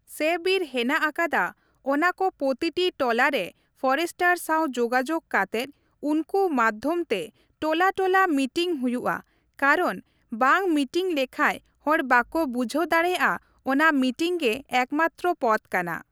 ᱥᱮ ᱵᱤᱨ ᱦᱮᱱᱟᱜ ᱟᱠᱟᱫᱟ ᱚᱱᱟᱠᱚ ᱯᱚᱛᱤᱴᱤ ᱴᱚᱞᱟ ᱨᱮ ᱯᱷᱚᱨᱮᱥᱴᱟᱨ ᱥᱟᱶ ᱡᱳᱜᱟᱡᱳᱜᱽ ᱠᱟᱛᱮᱜ ᱩᱱᱠᱩ ᱢᱟᱫᱷᱚᱢ ᱛᱮ ᱴᱚᱞᱟ ᱴᱚᱞᱟ ᱢᱤᱴᱤᱱ ᱦᱩᱭᱩᱜᱼᱟ ᱠᱟᱨᱚᱱ ᱵᱟᱝ ᱢᱤᱴᱤᱝ ᱞᱮᱠᱷᱟᱡ ᱦᱚᱲ ᱵᱟᱠᱚ ᱵᱩᱡᱷᱟᱹᱣ ᱫᱟᱲᱮᱭᱟᱜᱼᱟ ᱚᱱᱟ ᱢᱤᱴᱤᱝ ᱜᱮ ᱮᱠᱢᱟᱛᱨᱚ ᱯᱚᱛᱷ ᱠᱟᱱᱟ ᱾